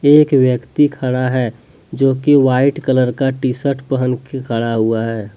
एक व्यक्ति खड़ा है जो की वाइट कलर का टी शर्ट पहन के खड़ा हुआ है।